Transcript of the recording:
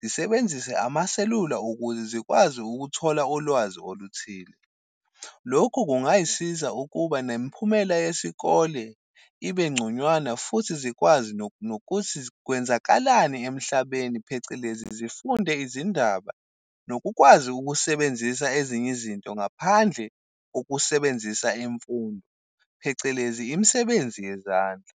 zisebenzise amaselula ukuze zikwazi ukuthola ulwazi oluthile. Lokhu kungayisiza ukuba nemiphumela yesikole ibe ngconywana, futhi zikwazi nokuthi kwenzakalani emhlabeni, phecelezi zifunde izindaba. Nokukwazi ukusebenzisa ezinye izinto ngaphandle ukusebenzisa imfundo, phecelezi imisebenzi yezandla.